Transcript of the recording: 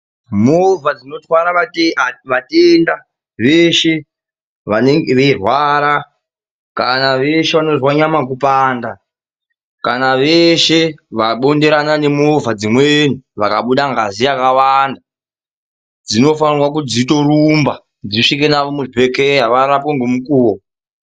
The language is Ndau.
Movha dzinotwara vatenda veshe vanenge veirwara kana veshe vanonzwa nyama kupanda, kana veshe vabonderana nemovha dzimweni vakabuda ngazi yakawanda, dzinofanira kuti dzitorumba dzisvike navo muzvibhedhlera varapwe ngemukuwo.